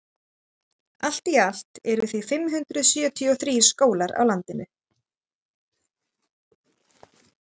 allt í allt eru því fimm hundruð sjötíu og þrír skólar á landinu